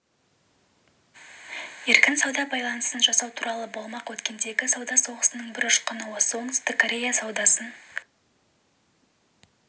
еркін сауда байланысын жасау туралы болмақ өткендегі сауда соғысының бір ұшқыны осы оңтүстік корея саудасын